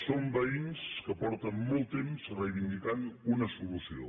són veïns que fa molt temps que reivindiquen una solució